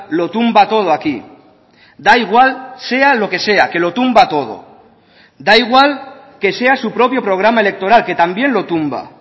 lo tumba todo aquí da igual sea lo que sea que lo tumba todo da igual que sea su propio programa electoral que también lo tumba